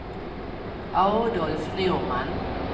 Adolf Norman